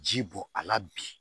Ji bɔ a la bi